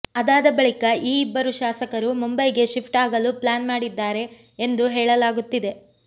ಅದಾದ ಬಳಿಕ ಈ ಇಬ್ಬರು ಶಾಸಕರು ಮುಂಬೈಗೆ ಶಿಫ್ಟ್ ಆಗಲು ಪ್ಲಾನ್ ಮಾಡಿದ್ದಾರೆ ಎಂದು ಹೇಳಲಾಗುತ್ತಿದೆ